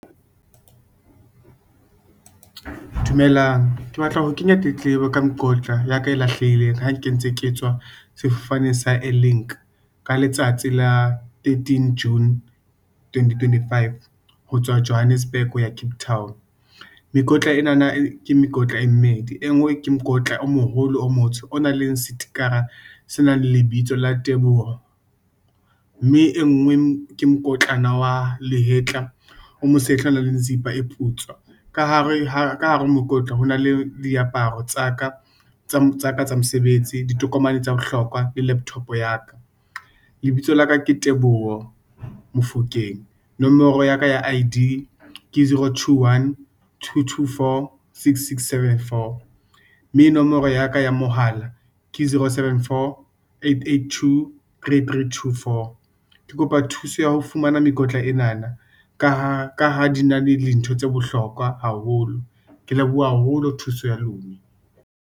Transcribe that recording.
Dumelang, ke batla ho kenya tletlebo ka mokotla ya ka e lahlehileng, ha ke ntse ke tswa sefane sa Air-Link, ka letsatsi la 13 June 2025, ho tswa Johannesburg, ho ya Cape Town. Mekotla enana ke mekotla e mmedi, e ngwe ke mokotla o moholo o motsho, o nang le setikara se nang le lebitso la Teboho, mme e ngwe ke mokotlana wa lehetla, o mo sehla o na le zipa e putswa, ka hare mokotla ho na le diaparo tsa ka, tsa mesebetsi, ditokomane tsa bohlokwa, le laptop ya ka, lebitso laka ke Teboho Mofokeng, nomoro ya ka ya I_D ke, 0212246674, mme nomoro ya ka ya mohala ke 0748823324. Ke kopa thuso ya ho fumana mekotla enana, ka ha di na le dintho tse bohlokwa haholo, ke leboha haholo thuso ya lune.